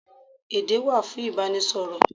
Èdé wà fún Ìbánisọ̀rọ̀.